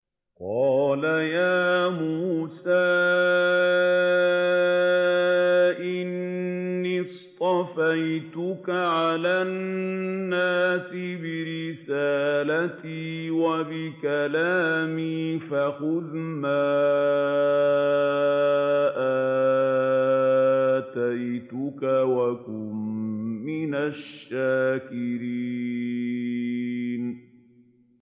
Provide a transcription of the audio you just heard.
قَالَ يَا مُوسَىٰ إِنِّي اصْطَفَيْتُكَ عَلَى النَّاسِ بِرِسَالَاتِي وَبِكَلَامِي فَخُذْ مَا آتَيْتُكَ وَكُن مِّنَ الشَّاكِرِينَ